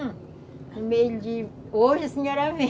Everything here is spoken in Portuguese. Em meio de... Hoje a senhora vem.